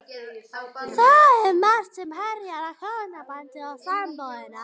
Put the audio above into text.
Það er margt sem herjar á hjónabandið og sambúðina.